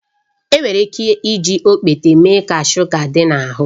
Enwere ike iji okpete mee ka shuga dị n'ahụ